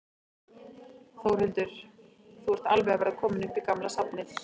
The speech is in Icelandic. Þórhildur: Þú ert alveg að verða kominn upp í gamla safnið?